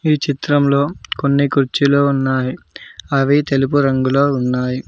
ఈ చిత్రంలో కొన్ని కుర్చీలో ఉన్నాయి అవి తెలుపు రంగులో ఉన్నాయి.